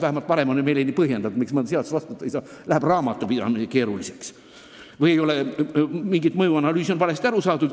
Vähemalt on meile vahel põhjendatud, miks me mõnda seadust vastu võtta ei saa: sel juhul läheb raamatupidamine keeruliseks.